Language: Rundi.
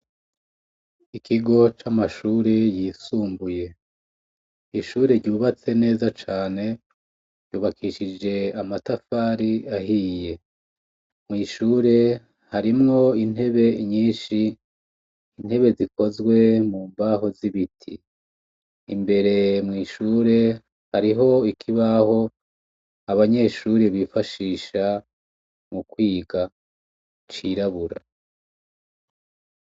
Ikigo camashure yisumbuye ishure ryubatse neza cane ryubakishije amatafari ahiye mwishure harimwo intebe nyinshi intebe zikozwe mumbaho zibiti imbere mwishure hariho ikibaho abanyeshure bifashisha mukwiga cirabura